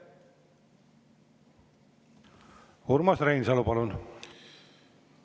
Urmas Reinsalu, palun!